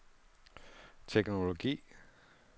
teknologi